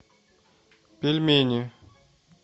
пельмени